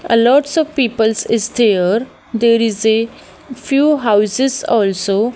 a lots of peoples is there there is a few houses also.